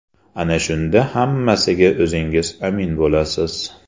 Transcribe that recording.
Ana shunda hammasiga o‘zingiz amin bo‘lasiz.